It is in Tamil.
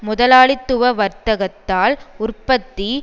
முதலாளித்துவ வர்த்தத்தால் உற்பத்தி